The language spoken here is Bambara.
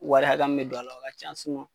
Wari hakɛya min be don a la o ka can